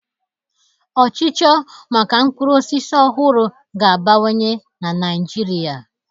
Ọchịchọ maka mkpụrụ osisi ọhụrụ ga-abawanye na ṅaịjirịa.